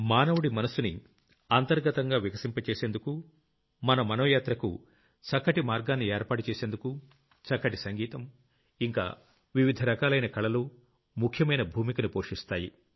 మానవుడి మనస్సుని అంతర్గతంగా వికసింపజేసేందుకు మన మనోయాత్రకు చక్కటి మార్గాన్ని ఏర్పాటు చేసేందుకు చక్కటి సంగీతం ఇంకా వివిధ రకాలైన కళలు ముఖ్యమైన భూమికను పోషిస్తాయి